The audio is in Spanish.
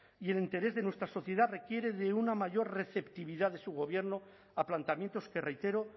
y el interés de nuestra sociedad requiere de una mayor receptividad de su gobierno a planteamientos que reitero